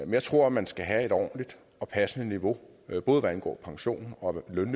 jeg tror man skal have et ordentligt og passende niveau både hvad angår pension og løn